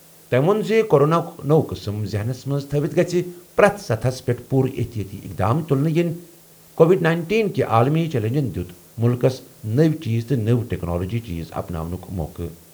تٔمۍ ووٚن زِ کوروناہُک نوٚو قٕسم ذہنس منٛز تھٲوِتھ گژھہِ پرٛٮ۪تھ سطحس پٮ۪ٹھ پوٗرٕ احتِیاطی اِقدام تُلنہٕ یِنۍ کووڈ نَینٹیٖن کہِ عالمی چیلنجَن دِیُت مُلکَس نٔوۍ چیز تہٕ نٔوۍ ٹیکنالوجیز اپناونُک موقعہٕ.